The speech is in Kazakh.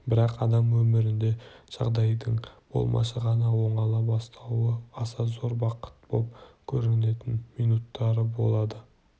бірақ адам өмірінде жағдайдың болмашы ғана оңала бастауы аса зор бақыт боп көрінетін минуттары болады